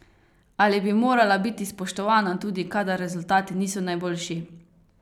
Ali bi morala biti spoštovana tudi kadar rezultati niso najboljši?